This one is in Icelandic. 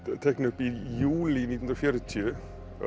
teikna upp í júlí nítján hundruð og fjörutíu